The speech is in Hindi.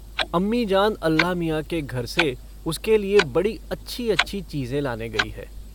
अम्मीजान अल्लाह मियाँ के घर से उसके लिए बड़ी अच्छी-अच्छी चीज़ें लाने गयी हैं।